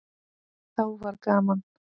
Þá var gaman.